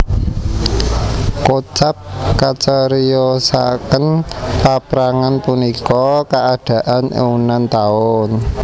Kocap kacariyosaken paprangan punika kaadanan eunan taun